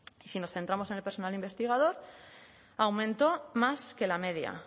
si nos centramos en el personal investigador aumentó más que la media